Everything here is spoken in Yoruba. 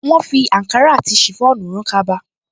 Wọ́́n fi àǹkárá àti ṣìfọ́ònù rán kaba